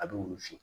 A bɛ wusu